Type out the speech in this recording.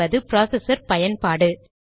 சிC என்பது ப்ராசஸர் பயன்பாடு